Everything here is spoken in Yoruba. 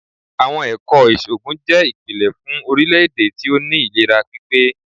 Àwọn Ẹ̀kọ́ ìṣògùn jẹ́ ìpìlẹ̀ fún orílè-èdè tí ó ní ìlera pípé.